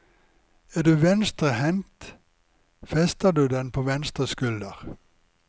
Er du venstrehendt, fester du den på venstre skulder.